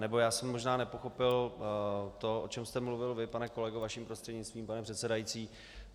Nebo já jsem možná nepochopil to, o čem jste mluvil vy, pane kolego, vaším prostřednictvím, pane předsedající.